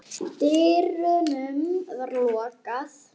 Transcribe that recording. dyrunum var lokað.